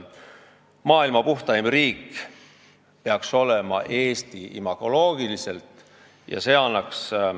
Eesti peaks imagoloogiliselt olema maailma puhtaim riik.